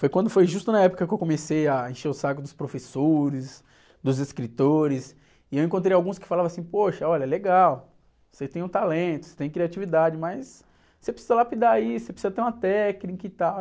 Foi quando foi justo na época que eu comecei a encher o saco dos professores, dos escritores, e eu encontrei alguns que falavam assim, poxa, olha, legal, você tem um talento, você tem criatividade, mas você precisa lapidar isso, você precisa ter uma técnica e tal.